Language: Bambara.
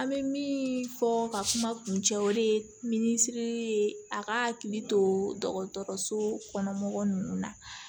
An bɛ min fɔ ka kuma kun cɛ o de ye min siri ye a ka hakili to dɔgɔtɔrɔso kɔnɔ mɔgɔ ninnu na